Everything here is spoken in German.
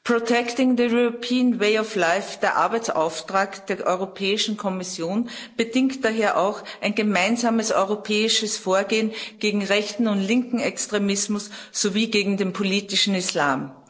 Protecting the European way of life der Arbeitsauftrag der Europäischen Kommission, bedingt daher auch ein gemeinsames europäisches Vorgehen gegen rechten und linken Extremismus sowie gegen den politischen Islam.